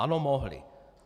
Ano, mohli.